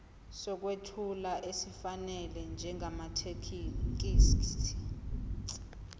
sokwethula esifanele njengamathekisthi